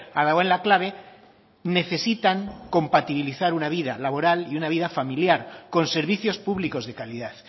ha dado en la clave necesitan compatibilizar una vida laboral y una vida familiar con servicios públicos de calidad